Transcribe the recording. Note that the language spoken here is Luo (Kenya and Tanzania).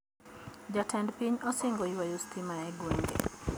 Jatend piny osingo ywayo stima e gwenge